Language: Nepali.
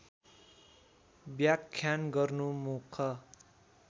व्याख्यान गर्नु मुख